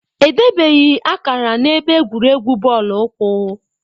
Edebeghị akara na-ebe egwuregwu bọọlụ ụkwụ